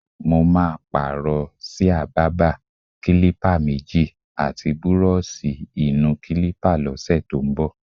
Mo máa pààrò s̩íà bábà, kílípà méjì, àti búró̩ò̩s̩ì-ì-nu-kílípà ló̩sè̩ tó ń bò̩.